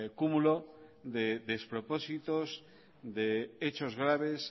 cúmulo de despropósitos de hechos graves